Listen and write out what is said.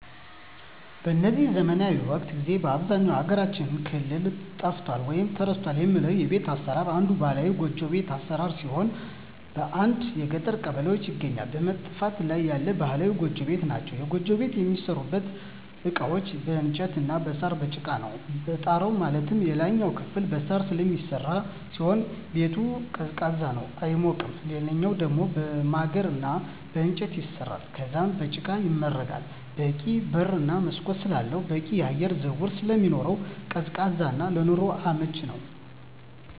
በዚህ ዘመናዊ ወቅት ጊዜ በአብዛኛው የሀገራችን ክፍል ጠፍቷል ወይም ተረስቷል የሚባለው የቤት አሰራር አንዱ ባህላዊ ጎጆ ቤት አሰራር ሲሆን በአንዳንድ የገጠር ቀበሌዎች ይገኛሉ በመጥፋት ላይ ያሉ ባህላዊ ጎጆ ቤቶች ናቸዉ። የጎጆ ቤት የሚሠሩበት እቃዎች በእንጨት እና በሳር፣ በጭቃ ነው። የጣራው ማለትም የላይኛው ክፍል በሳር ስለሚሰራ ሲሆን ቤቱ ቀዝቃዛ ነው አይሞቅም ሌላኛው ደሞ በማገር እና በእንጨት ይሰራል ከዛም በጭቃ ይመረጋል በቂ በር እና መስኮት ስላለው በቂ የአየር ዝውውር ስለሚኖር ቀዝቃዛ እና ለኑሮ አመቺ ነው።